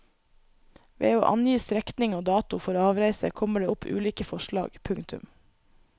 Ved å angi strekning og dato for avreise kommer det opp ulike forslag. punktum